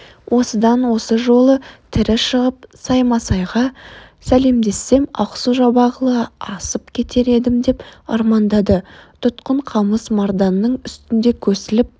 осыдан осы жолы тірі шығып саймасайға сәлемдессем ақсу-жабағылы асып кетер едім деп армандады тұтқын қамыс марданның үстінде көсіліп